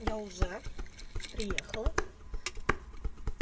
я уже приехала